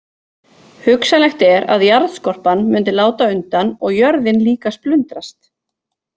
Hugsanlegt er að jarðskorpan mundi láta undan og jörðin líka splundrast.